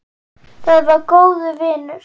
Hún var góður vinur.